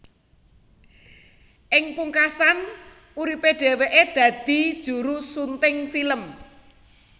Ing pungkasan uripe dheweke dadi juru sunting film